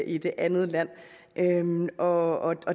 i det andet land og